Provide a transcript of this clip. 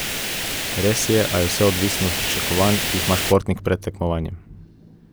Res je, a je vse odvisno od pričakovanj, ki jih ima športnik pred tekmovanjem.